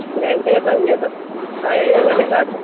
ಗಂಟೆ ಸಂಜೆ ಅದು ಆ ಏಳ್ ಗಂಟೆಗೆ start .